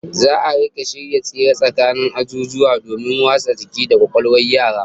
Za'a rika shirya tsere tsakanin azuzuwa domin wasa jiki da kwakwalwar yara